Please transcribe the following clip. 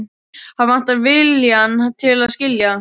Hann vantar viljann til að skilja.